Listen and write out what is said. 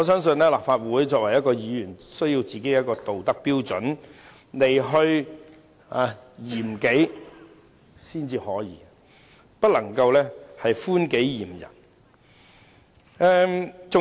作為立法會議員，必須以一套道德標準來嚴己，絕不能寬己嚴人。